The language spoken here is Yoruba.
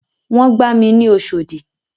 Wọ́n gba mi ní Oṣòdì.